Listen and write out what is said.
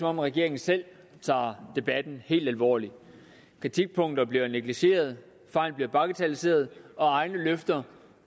om regeringen selv tager debatten helt alvorligt kritikpunkter bliver negligeret fejl bliver bagatelliseret og egne løfter